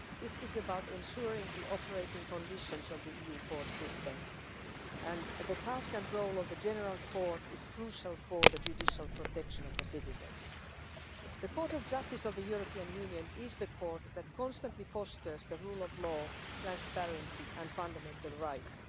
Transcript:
This is about ensuring the operating conditions of the EU court system, and the task and role of the General Court is crucial for the judicial protection of the citizens. The Court of Justice of the European Union is the court that constantly fosters the rule of law, transparency and fundamental rights.